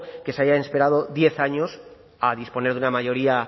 que se hayan esperado diez años a disponer de una mayoría